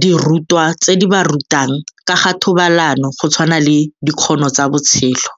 dirutwa tse di ba rutang ka ga thobalano go tshwana le Dikgono tsa botshelo.